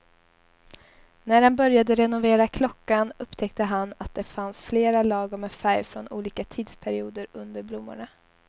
När han började renovera klockan upptäckte han att det fanns flera lager med färg från olika tidsperioder under blommorna.